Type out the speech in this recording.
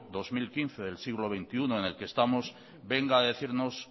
dos mil quince del siglo veintiuno en el que estamos venga a decirnos